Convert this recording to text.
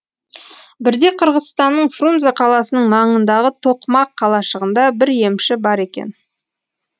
бірде қырғызстанның фрунзе қаласының маңындағы тоқмақ қалашығында бір емші бар екен